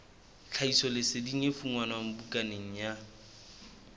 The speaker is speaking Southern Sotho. tlhahisoleseding e fumanwe bukaneng ya